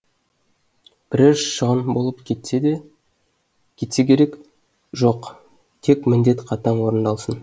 бірер шығын болып кетседе кетсе керек жоқ тек міндет қатаң орындалсын